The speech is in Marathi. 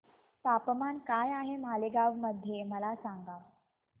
तापमान काय आहे मालेगाव मध्ये मला सांगा